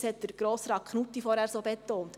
Das hat Grossrat Knutti vorher so betont.